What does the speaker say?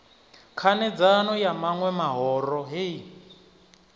khanedzano ya maṋwe mahoro hei